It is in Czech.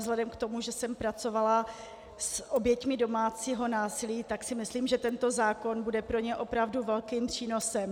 Vzhledem k tomu, že jsem pracovala s oběťmi domácího násilí, tak si myslím, že tento zákon bude pro ně opravdu velkým přínosem.